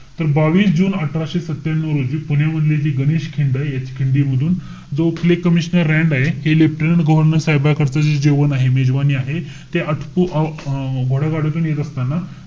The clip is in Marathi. तर बावीस जुने अठराशे सत्त्यानु रोजी पुण्यामधले जे गणेश खिंड आहे. या खिंडीमधून जो तिथले commssioner रँड आहेत हे leftanat general साहेबाकडंच जे जेवण आहे, मेजवानी आहे. ते आटपू~ अं येत असताना,